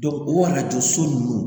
o arajo so ninnu